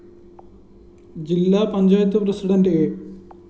ജില്ലാ panchayat president A